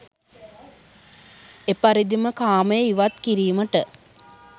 එපරිදිම කාමය ඉවත් කිරීමට